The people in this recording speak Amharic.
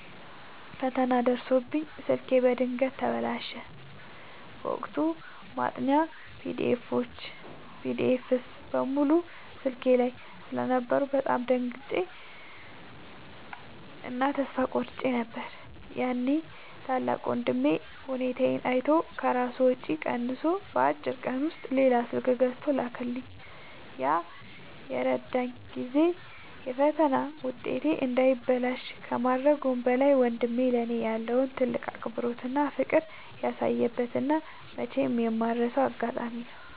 ፈተና ደርሶብኝ ስልኬ በድንገት ተበላሸ። በወቅቱ ማጥኛ ፒዲኤፎች (PDFs) በሙሉ ስልኬ ላይ ስለነበሩ በጣም ደንግጬ እና ተስፋ ቆርጬ ነበር። ያኔ ታላቅ ወንድሜ ሁኔታዬን አይቶ ከራሱ ወጪ ቀንሶ በአጭር ቀን ውስጥ ሌላ ስልክ ገዝቶ ላከልኝ። ያ የረዳኝ ጊዜ የፈተና ውጤቴ እንዳይበላሽ ከማድረጉም በላይ፣ ወንድሜ ለእኔ ያለውን ትልቅ አክብሮትና ፍቅር ያሳየበት እና መቼም የማልረሳው አጋጣሚ ነው።